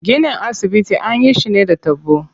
Ginin asibitin anyi shi ne da taɓo.